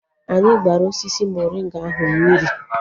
Anyị gbara osisi morịnga ahụ mmiri